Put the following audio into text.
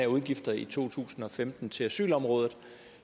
udgifter i to tusind og femten til asylområdet